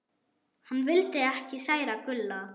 Hann vildi ekki særa Gulla.